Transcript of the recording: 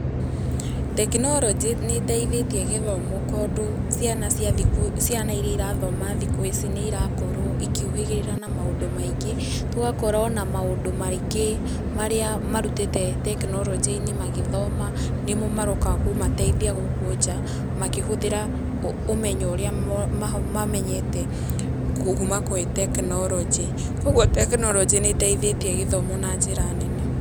Tekinoronjĩ nĩ ĩteithĩtie gĩthomo tondũ ciana cia thikũ ici, ciana iria irathoma thikũ ici nĩ irakorwo ikĩũhĩgĩrĩra na maũndũ maingĩ, tũgakorwo na maũndũ maingĩ marĩa marutĩte tekinoronjĩ-inĩ magĩthoma, nĩmo maroka kũmateithia gũkũ nja, makĩhũthĩra ũmenyo ũrĩa mamenyete kuma kwĩ tekinoronjĩ, ũguo tekinoronjĩ nĩ ĩteithĩtie gĩthomo na njĩra nene.